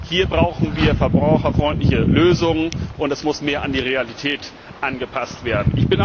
Hier brauchen wir verbraucherfreundliche Lösungen, und es muss mehr an die Realität angepasst werden.